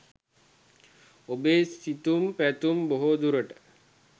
ඔබේ සිතුම් පැතුම් බොහෝ දුරට